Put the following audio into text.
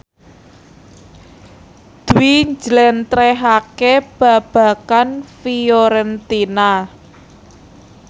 Dwi njlentrehake babagan Fiorentina